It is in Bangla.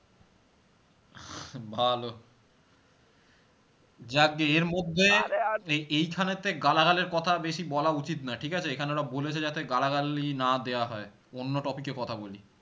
ভালো যাকগে এর মধ্যে এই এইখানে তে গালাগালের কথা বেশি বলা উচিত নয় ঠিক আছে এখানে ওরা বলেছে যাতে গালাগালি না দেওয়া হয় অন্য topic এ কথা বলি